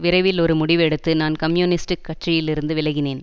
விரைவில் ஒரு முடிவு எடுத்து நான் கம்யூனிஸ்ட் கட்சியில் இருந்து விலகினேன்